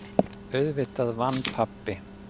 Auðvitað vann pabbi!